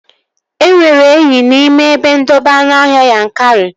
E nwere enyi n'ime ebe ndobe anụọhịa Yankari